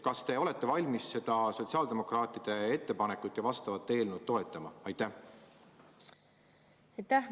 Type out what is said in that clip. Kas te olete valmis seda sotsiaaldemokraatide ettepanekut ja sellekohast eelnõu toetama?